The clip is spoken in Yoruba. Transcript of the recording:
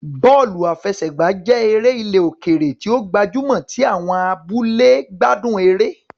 Bọ́ọ̀lù àfẹsẹ̀gbá jẹ́ eré ilẹ̀ òkèèrè tí ó gbajúmọ̀ tí àwọn ará abúlé gbádùn eré